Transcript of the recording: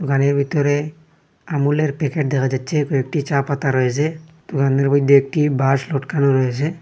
দোকানের ভিতরে আমুলের প্যাকেট দেখা যাচ্ছে কয়েকটি চা পাতা রয়েছে দোকানের মইধ্যে একটি বাঁশ লটকানো রয়েছে।